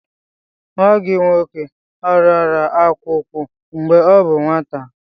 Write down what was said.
Nwa gị nwoke ọrịara akwụkwụ mgbe ọ bụ nwata.